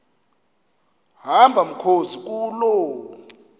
hamba mkhozi kuloo